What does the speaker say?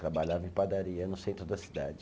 Trabalhava em padaria no centro da cidade.